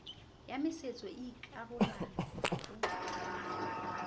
ya masetso e ikarolang ho